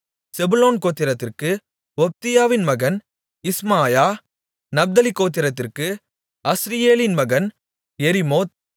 செபுலோன் கோத்திரத்திற்கு ஒப்தியாவின் மகன் இஸ்மாயா நப்தலி கோத்திரத்திற்கு அஸ்ரியேலின் மகன் எரிமோத்